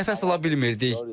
Nəfəs ala bilmirdik.